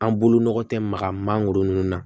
An bolo nɔgɔ tɛ maga mangoro ninnu na